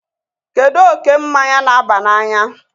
kedu oke mmanya na-aba n'anya?